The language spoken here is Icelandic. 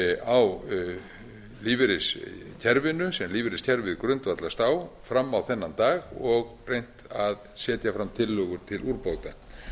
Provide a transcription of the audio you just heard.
á lífeyriskerfinu sem lífeyriskerfið grundvallast á fram á þennan dag og reynt að setja fram tillögur til úrbóta